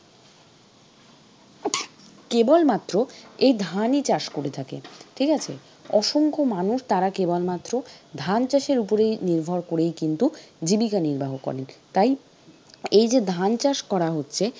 কেবলমাত্র এই ধানই চাষ করে থাকে ঠিক আছে? অসংখ্য মানুষ তারা কেবলমাত্র ধান চাষের উপরেই নির্ভর করেই কিন্তু জীবিকা নির্বাহ করেন তাই এই যে ধান চাষ করা হচ্ছে।